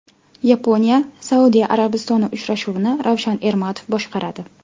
YaponiyaSaudiya Arabistoni uchrashuvini Ravshan Ermatov boshqaradi.